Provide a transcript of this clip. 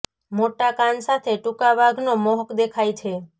મોટા કાન સાથે ટૂંકા વાઘ તો મોહક દેખાય છે